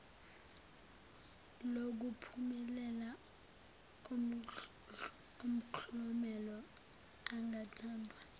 lokuphumelela umklomelo ongathandwa